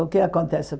O que acontece?